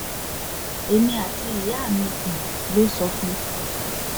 èmi àti ìyá mi ló um sọ fún